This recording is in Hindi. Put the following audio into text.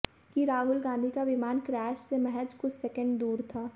कि राहुल गांधी का विमान क्रैश से महज कुछ सेकेंड दूर था